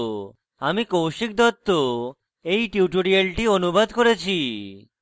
আমি কৌশিক দত্ত এই টিউটোরিয়ালটি অনুবাদ করেছি